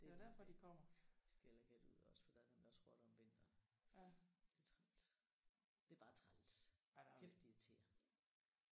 Det er lige det. Skal heller ikke have det ude ved os for der er nemlig også rotter om vinteren. Det er træls. Det er bare træls. Kæft det er irriterende